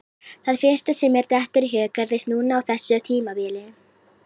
Það fyrsta sem mér dettur í hug gerðist núna á þessu tímabili.